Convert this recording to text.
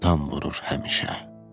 Fəntam vurur həmişə.